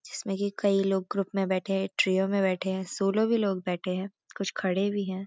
जिसमें कि कई लोग ग्रुप में बैठे हैं ट्रिओ में बैठे हैं शोलो भी लोग बैठे हैं कुछ खड़े भी हैं।